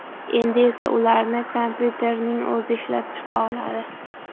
Endi esa ularni kompyuterning o‘zi ishlab chiqa oladi.